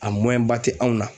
A tɛ anw na.